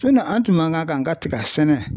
an tun man kan ka tiga sɛnɛ